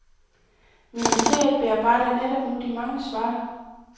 Ministeriet bearbejder netop nu de mange svar.